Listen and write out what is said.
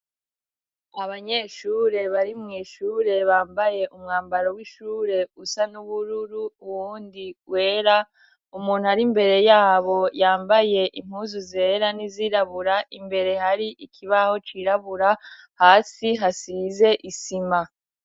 Abanyeshure bari mw'ishure bambaye umwambaro w'ishure usa n'ubururu uwundi wera ,umuntu ari mbere yabo yambaye impuzu zera n'izirabura imbere hari ikibaho cirabura hasi hasize isima.